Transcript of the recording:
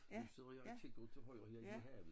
Du sidder her og kigger ud til højre ned mod havet